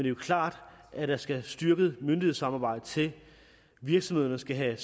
er klart at der skal et styrket myndighedssamarbejde til virksomhederne skal have